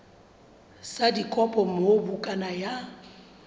sa dikopo moo bukana ya